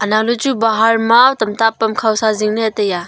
anoaley chu bahar ma tamta pamkhaw sa zingley taiya.